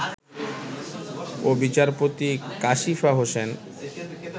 ও বিচারপতি কাশিফা হোসেন